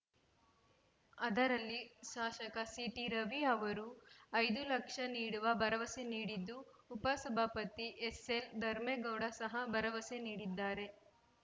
ಅದರಲ್ಲಿ ಶಾಸಕ ಸಿಟಿರವಿ ಅವರು ಐದು ಲಕ್ಷ ನೀಡುವ ಭರವಸೆ ನೀಡಿದ್ದು ಉಪ ಸಭಾಪತಿ ಎಸ್‌ಎಲ್‌ಧರ್ಮೇಗೌಡ ಸಹ ಭರವಸೆ ನೀಡಿದ್ದಾರೆ